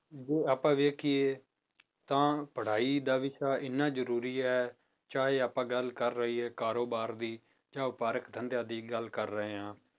ਜੇ ਆਪਾਂ ਵੇਖੀਏ ਤਾਂ ਪੜ੍ਹਾਈ ਦਾ ਵਿਸ਼ਾ ਇੰਨਾ ਜ਼ਰੂਰੀ ਹੈ ਚਾਹੇ ਆਪਾਂ ਗੱਲ ਕਰ ਲਈਏ ਕਾਰੋਬਾਰ ਦੀ ਜਾਂ ਵਪਾਰਿਕ ਧੰਦਿਆਂ ਦੀ ਗੱਲ ਕਰ ਰਹੇ ਹਾਂ